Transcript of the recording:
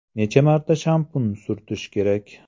Necha marta shampun surtish kerak?